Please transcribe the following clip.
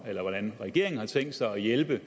hvordan regeringen har tænkt sig at hjælpe